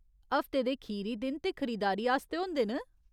हफ्ते दे खीरी दिन ते खरीदारी आस्तै होंदे न !